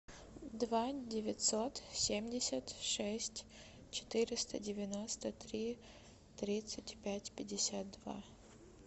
два девятьсот семьдесят шесть четыреста девяносто три тридцать пять пятьдесят два